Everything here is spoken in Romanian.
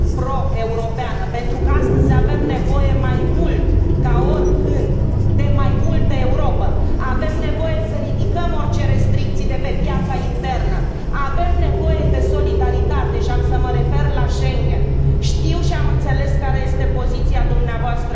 pro europeană, pentru că astăzi avem nevoie mai mult ca oricând de mai multă Europă, avem nevoie să ridicăm orice restricții de pe piața internă, avem nevoie de solidaritate, și am să mă refer la Schengen, știu și am înțeles care este poziția dvs.